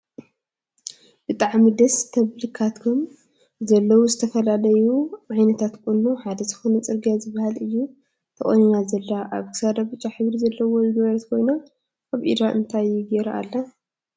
ብጣዕሚ ደስ ትብልካብቶም ዘለውዝተፈላለዩ ዓ ይነታት ቁኖ ሓደ ዝኮነ ፅርግያ ዝብሃል እያ ተቆኒና ዘላ። ኣብ ክሳዳ ብጫ ሕብሪ ዘለዎ ዝገበረት ኮይና ኣብ ኢዳ እንታይ ገይራ ኣላ?